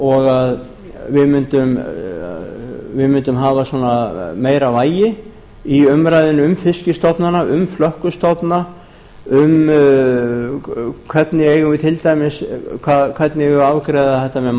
og að við mundum hafa meira vægi í umræðunni um fiskstofnana um flökkustofna um hvernig við eigum að afgreiða þetta með